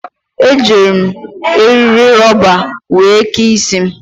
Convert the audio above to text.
Ejiiri m eri rọba were kee isi m.